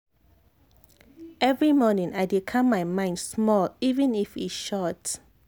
every morning i dey calm my mind small even if e short."